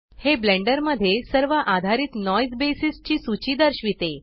हे ब्लेंडर मध्ये सर्व आधारित नॉइज बेसिस ची सूची दर्शविते